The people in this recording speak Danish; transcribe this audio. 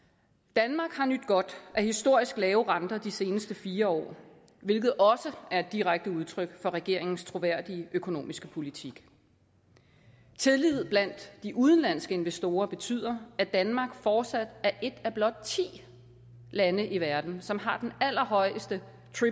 danmark har nydt godt af historisk lave renter de seneste fire år hvilket også er et direkte udtryk for regeringens troværdige økonomiske politik tillid blandt de udenlandske investorer betyder at danmark fortsat er et af blot ti lande i verden som har den allerhøjeste